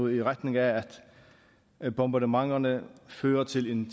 i retning af at bombardementerne fører til en